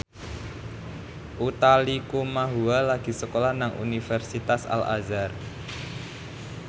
Utha Likumahua lagi sekolah nang Universitas Al Azhar